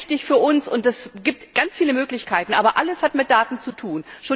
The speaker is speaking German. ist ganz wichtig für uns, und es gibt ganz viele Möglichkeiten, aber alles hat mit Daten zu tun.